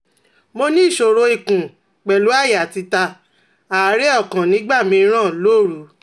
mo ní ìṣòro ikun pelu aya tita, àárẹ̀ ọkàn ni igba miran l'òru